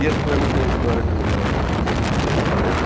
E esse poema tem uma história curiosa, porque eu fiz esse poema